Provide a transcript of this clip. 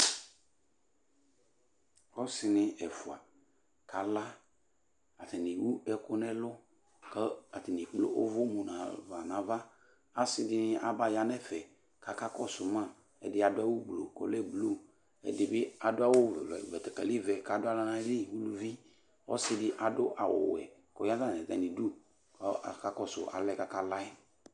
Ɔsi nɩ ɛfua kala Ata ni ewu ɛku n'ɛlu, kɔ atani ekpl'uʋu mufa n'ava, asi dini aba ya n'ɛfɛ k'aka kɔsu ma, ɛdi adu awu gblo k'ɔlɛ blu, ɛdi bi adu awu betekeli ʋɛ k'adu aɣla n'ayi li uluvɩ Ɔsi di adu awu wɛ koya n'atami du kɔ ɔka kɔsu alɛ k'aka la'ɛ